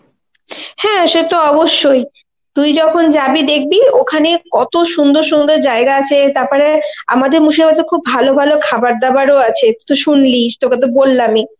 হ্যা সে তো অবশ্যই, তুই যখন যাবি দেখবি ওখানে কত সুন্দর সুন্দর জায়গা আছে তারপরে আমাদের মুর্শিদাবাদ এ খুব ভালো ভালো খাবার দাবার ও আছে তুই শুনলি তোকে তো বললামই.